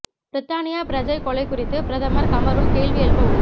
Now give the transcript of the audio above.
பிரித்தானிய பிரஜை கொலை குறித்து பிரதமர் கமரூன் கேள்வி எழுப்ப உள்ளார்